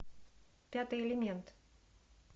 пятый элемент